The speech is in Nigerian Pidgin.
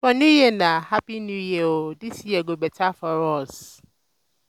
for new year na "hapi new year o this year go beta for us"